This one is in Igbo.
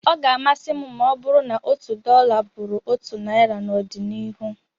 Ọ ga-amasị m ma ọ bụrụ na otu dọla bụrụ otu naira n'ọdịnihu